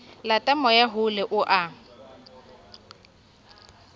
lata moya hole o a